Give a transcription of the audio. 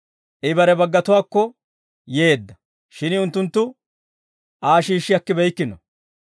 I bare baggatuwaakko yeedda; shin unttunttu Aa shiishshi akkibeykkino.